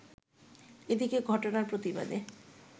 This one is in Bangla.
এদিকে ঘটনার প্রতিবাদে